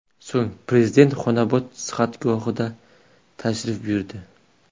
So‘ng Prezident Xonobod sihatgohiga tashrif buyurdi .